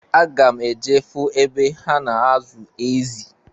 Aga m eje fụ ebe ha na-azụ ezị.